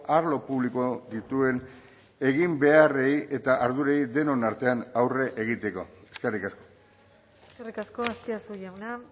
arlo publiko dituen egin beharrei eta ardurei denon artean aurre egiteko eskerrik asko eskerrik asko azpiazu jauna